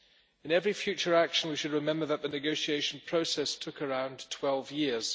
In every future action, we should remember that the negotiation process took around 12 years.